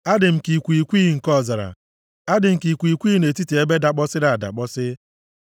Adị m ka ikwighịkwighị nke ọzara, a dị m ka ikwighịkwighị nʼetiti ebe dakpọsịrị adakpọsị.